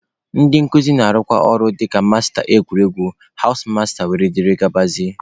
Ndị nkuzi na-arụkwa ọrụ dịka masta egwuregwu, hawụs masta wdg.